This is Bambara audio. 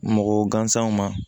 Mɔgɔ gansanw ma